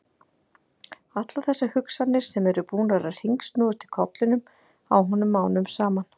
Allar þessar hugsanir sem eru búnar að hringsnúast í kollinum á honum mánuðum saman!